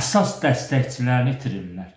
əsas dəstəkçilərini itirirlər.